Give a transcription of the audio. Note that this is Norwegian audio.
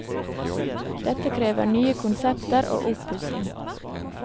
Dette krever nye konsepter og oppussing.